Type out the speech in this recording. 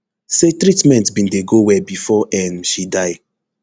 say treatment bin dey go well bifor um she die